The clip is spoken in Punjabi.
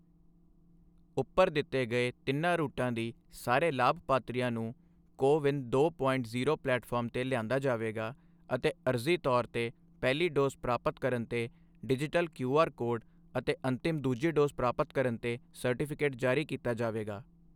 ਉੱਪਰ ਦਿੱਤੇ ਗਏ ਤਿੰਨਾਂ ਰੂਟਾਂ ਦੀ ਸਾਰੇ ਲਾਭਪਾਤਰੀਆਂ ਨੂੰ ਕੋ ਵਿਨ ਦੋ ਪੋਇੰਟ ਜ਼ੀਰੋ ਪਲੇਟਫਾਰਮ ਤੇ ਲਿਆਂਦਾ ਜਾਵੇਗਾ ਅਤੇ ਆਰਜ਼ੀ ਤੌਰ ਤੇ ਪਹਿਲੀ ਡੋਜ਼ ਪ੍ਰਾਪਤ ਕਰਨ ਤੇ ਡਿਜੀਟਲ ਕਿਊਆਰ ਕੋਡ ਅਤੇ ਅੰਤਿਮ ਦੂਜੀ ਡੋਜ਼ ਪ੍ਰਾਪਤ ਕਰਨ ਤੇ ਸਰਟੀਫਿਕੇਟ ਜਾਰੀ ਕੀਤਾ ਜਾਵੇਗਾ।